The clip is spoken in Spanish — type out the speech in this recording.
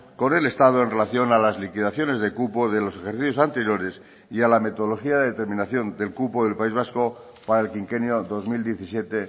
con el estado en relación a las liquidaciones de cupo de los ejercicios anteriores y a la metodología de determinación del cupo del país vasco para el quinquenio dos mil diecisiete